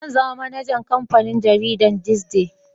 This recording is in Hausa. Zan zama manajan kamfanin jaridan "this day"